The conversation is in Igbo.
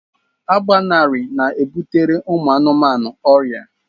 Agbanarị na-ebutere anụmanụ ọrịa